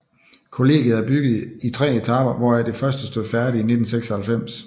Kollegiet er bygget i tre etaper hvoraf det første stod færdigt i 1996